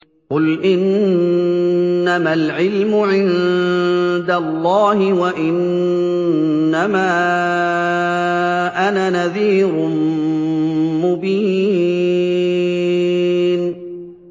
قُلْ إِنَّمَا الْعِلْمُ عِندَ اللَّهِ وَإِنَّمَا أَنَا نَذِيرٌ مُّبِينٌ